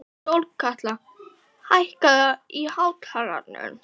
Sólkatla, hækkaðu í hátalaranum.